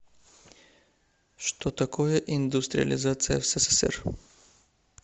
что такое индустриализация в ссср